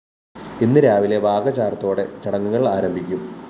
ഇന്ന് രാവിലെ വാകചാര്‍ത്തോടെ ചടങ്ങുകള്‍ ആരംഭിക്കും